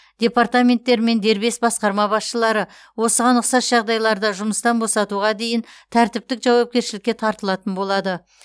департаменттер мен дербес басқарма басшылары осыған ұқсас жағдайларда жұмыстан босатуға дейін тәртіптік жауапкершілікке тартылатын болады